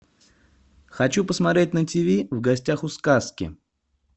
хочу посмотреть на тиви в гостях у сказки